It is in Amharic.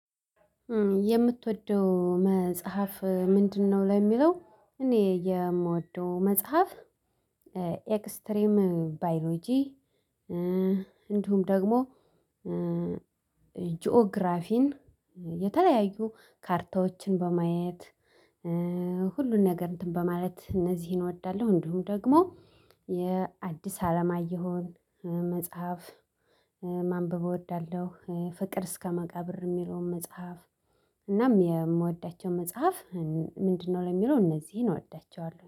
የምትወደው መጽሐፍ ምንድነው ለሚለው እኔ የምወደው መጽሐፍ ኤክስትሪም ባዮሎጂ እንዲሁም ደግሞ ጂኦግራፊን የተለያዩ ካርታዎችን በማየት ሁሉን ነገር በማለት እነዚህን እወዳለሁ እንዲሁም ደግሞ የአዲስ አለማየሁን መጽሐፍ ማንበብ እወዳለሁ ፍቅር እስከ መቃብር የሚለውን መጽሐፍ እናም የምወዳቸው መጽሐፍ ምንድነው ለሚለው እነዚህን እወዳቸዋለሁ።